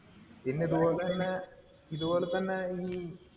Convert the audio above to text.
പിന്നെ ഇതുപോലെ തന്നെ ഇതുപോലെ തന്നെ ഈ